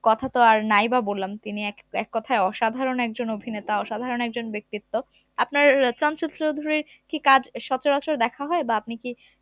কথা তো আর নাই বা বললাম তিনি এক এককথায় অসাধারণ একজন অভিনেতা অসাধারণ একজন ব্যক্তিত্ব আপনার আহ চঞ্চল চৌধুরীর কি কাজ আহ সচরাচর দেখা হয় বা আপনি কি